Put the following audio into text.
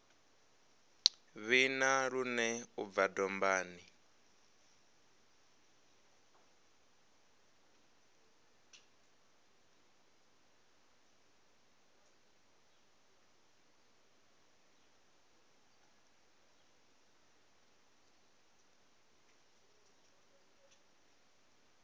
vhina lune u bva dombani